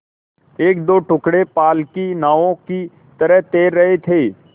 एकदो टुकड़े पाल की नावों की तरह तैर रहे थे